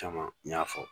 Caman n y'a fɔ